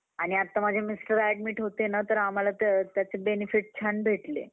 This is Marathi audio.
आणि आत्ता माझे mister admit होते ना तर आम्हाला त्याचे benefit छान भेटले.